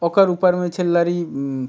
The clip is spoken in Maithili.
ओकर ऊपर में छै लरी --